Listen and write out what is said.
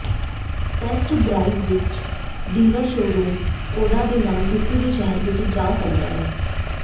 test drive ਇੱਕ dealer showroom Skoda ਦੇ ਨਾਲ ਕਿਸੇ ਵੀ ਸ਼ਹਿਰ ਵਿੱਚ ਜਾ ਸਕਦਾ ਹੈ